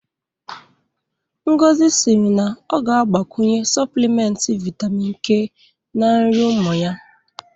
Ngozi sịrị na ọ ga-agbakwunye Sọplịmenti Vitamin K na nri ụmụ ya